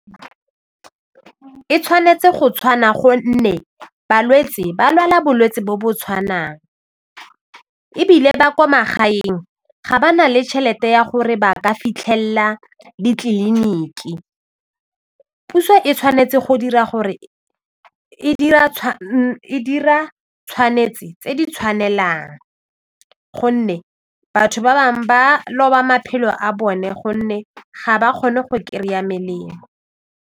E tshwanetse go tshwana gonne balwetse ba lwala bolwetsi bo bo tshwanang ebile ba kwa magaeng ga ba na le tšhelete ya gore ba ka fitlhelela ditleliniki, puso e tshwanetse go dira gore e dira tshwanetse tse di tshwanelang gonne batho ba bangwe ba loba maphelo a bone gonne ga ba kgone go kry-a melemo.